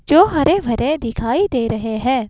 जो हरे भरे दिखाई दे रहे हैं।